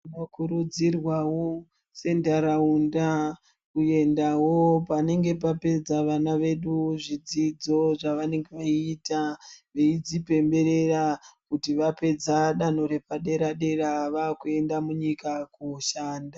Tinokurudzirwawo sentaraunda kuendawo panenge papedza vana vedu zvidzidzo zvavanenge veyiita, veidzipemberera kuti vapedza danho repadera dera vakuenda munyika koshanda.